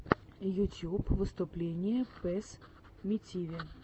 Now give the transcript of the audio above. ютьюб выступление пэссмитиви